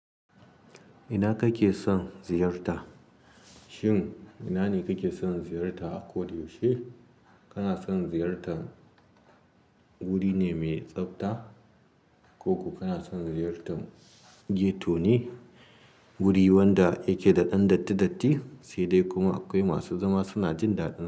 Ina kake son ziyarta? Shin ina ne kake son ziyarta a Koda yaushe Kana son ziyartan wuri ne mai tsabta ko ko kana son ziyartan ghetto ne, wuri wanda yake da ɗan datti datti, sai dai kuma akwai masu zama suna jin daɗi.